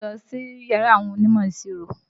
Táyé ń lọ síyàrá àwọn onímọ̀-ìṣirò.